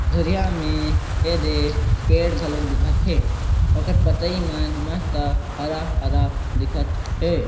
दुरिहा में एदे पेड़ मन घलोक दिखत हे ओकर पतई मन मस्त हरा-हरा दिखत हे।